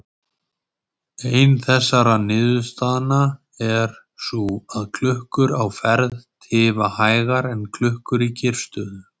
Ein þessara niðurstaðna er sú að klukkur á ferð tifa hægar en klukkur í kyrrstöðu.